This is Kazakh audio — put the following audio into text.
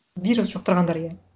вирус жұқтырғандар иә